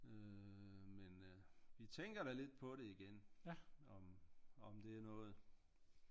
Øh men vi tænker da lidt på det igen om om det er noget